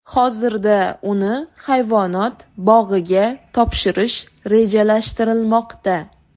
Hozirda uni hayvonot bog‘iga topshirish rejalashtirilmoqda.